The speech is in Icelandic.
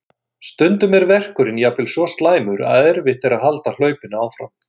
Stundum er verkurinn jafnvel svo slæmur að erfitt er að halda hlaupinu áfram.